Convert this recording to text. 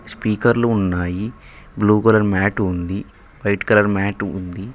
స్పీకర్లు ఉన్నాయి blue colour mat ఉంది వైట్ కలర్ మ్యాటు ఉంది.